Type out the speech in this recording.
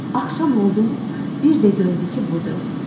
Axşam oldu, bir də gördü ki, budur.